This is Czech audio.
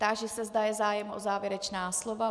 Táži se, zda je zájem o závěrečná slova.